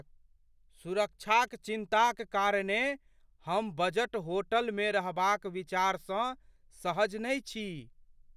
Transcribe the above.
सुरक्षाक चिन्ता क कारणेँ हम बजट होटलमे रहबाक विचारसँ सहज नहि छी।